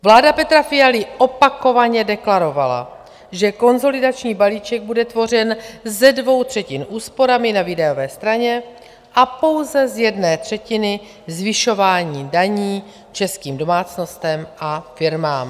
Vláda Petra Fialy opakovaně deklarovala, že konsolidační balíček bude tvořen ze dvou třetin úsporami na výdajové straně a pouze z jedné třetiny zvyšováním daní českým domácnostem a firmám.